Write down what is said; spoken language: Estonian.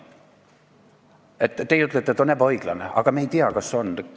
Teie ütlete, et kohtupidamine on ebaõiglane, aga meie ei tea, kas on.